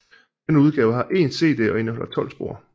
Denne udgave har én CD og indeholder 12 spor